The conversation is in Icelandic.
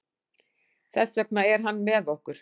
Þess vegna er hann með okkur.